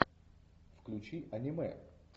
включи аниме